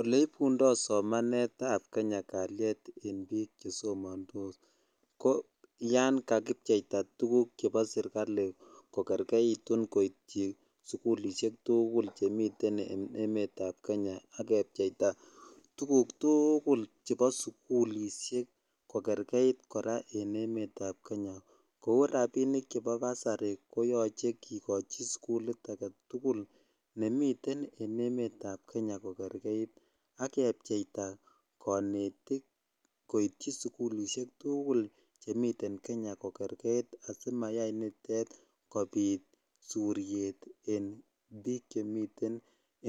Oleibundo somanetab kenya kaliet en biik chesomandos ko yan kakibyeita tukuk chepo serikali kokerkeitu koityi sikulisiek tugul chemiten en emetab kenya akebyeita tukuk tuugul chepo sukulisiek kokerkeit kora en emetap kenya kou rapinik chepo basari koyoche kikochi sikulit agetugul nemiten en emetap kenya kokerkeit akepcheita konetik koityi sikulisiek tuugul chemiten kenya kokerkeit asimayai nitet kobit suriet en biik chemiten